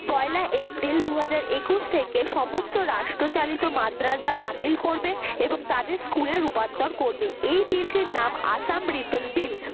পয়লা April দুই হাজার একুশ থেকে সমস্ত রাষ্ট্র চালিত মাদ্রাসা বাতিল করবে এবং তাদের school এ রুপান্তর করবে এই bill টির নাম আসাম reapal bill